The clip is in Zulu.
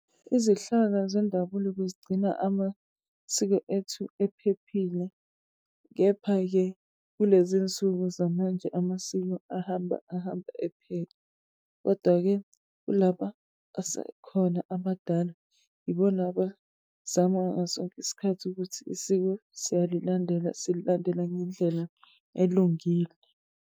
Izihlaka zendabulo bezigcina amasiko ethu ephephile, kepha-ke kulezi nsuku zamanje amasiko ahambe ahambe ephele. Kodwa-ke kulaba asekhona amadala, ibona abazama ngaso sonke isikathi ukuthi isiko siyalilandela, sililandela ngendlela elungile.